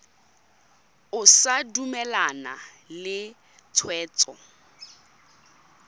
o sa dumalane le tshwetso